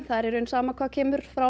það er í rauninni sama hvað kemur frá